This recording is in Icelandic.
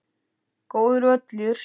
Góður völlur.